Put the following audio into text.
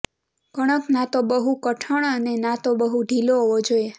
કણક ના તો બહુ કઠણ અને ના તો બહુ ઢીલો હોવો જોઈએ